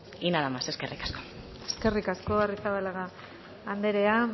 y nada más eskerrik asko eskerrik asko arrizabalaga andrea